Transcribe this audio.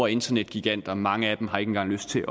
internetgiganter mange af dem har ikke engang lyst til